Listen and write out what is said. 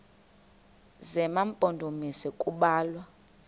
zema mpondomise kubalwa